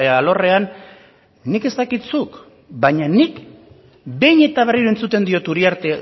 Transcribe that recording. alorrean nik ez dakit zuk baina nik behin eta berriro entzuten diot uriarte